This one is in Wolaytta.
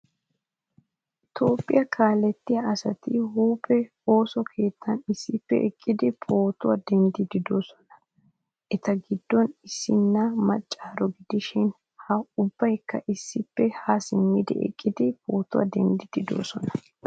Toophphiyaa kaalettiyaa asati huuphphee ooso keettan issippe eqqidi pootuwwa denddidi deosona. Eta giddon issina maaccaro gidishin ha ubbaykka issippe ha simmidi eqqidi pootuwaa denddidi deosona.